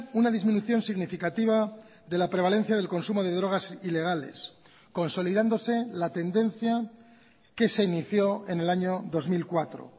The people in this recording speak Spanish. una disminución significativa de la prevalencia del consumo de drogas ilegales consolidándose la tendencia que se inició en el año dos mil cuatro